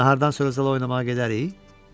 Nahardan sonra zala oynamağa gedərik?